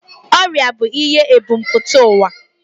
Ọrịa bụ ihe ebumpụta ụwa